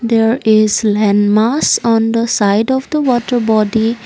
there is landmass on the side of the water body.